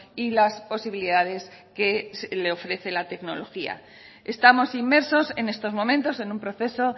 y las posibilidades que le ofrece la tecnología estamos inmersos en estos momentos en un proceso